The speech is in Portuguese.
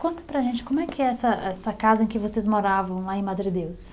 Conta para a gente como é que é essa essa casa em que vocês moravam lá em Madredeus.